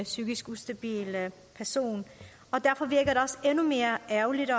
psykisk ustabil person derfor virker det også endnu mere ærgerligt og